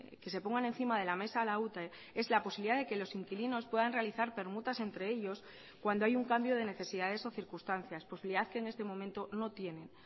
que se pongan encima de la mesa a la ute es la posibilidad de que los inquilinos puedan realizar permutas entre ellos cuando hay un cambio de necesidades o circunstancias posibilidad que en este momento no tienen